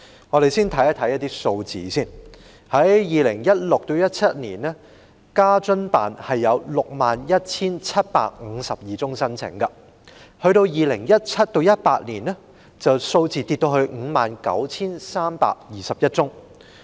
在 2016-2017 年度，在職家庭津貼辦事處批出 61,752 宗申請；到 2017-2018 年度，相關數字下跌至 59,321 宗。